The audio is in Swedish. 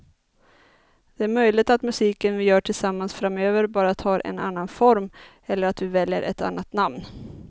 Det är möjligt att musiken vi gör tillsammans framöver bara tar en annan form eller att vi väljer ett annat namn.